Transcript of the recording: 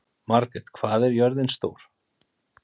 Margret, hvað er jörðin stór?